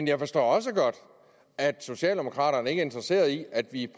jeg forstår også godt at socialdemokraterne ikke er interesseret i at vi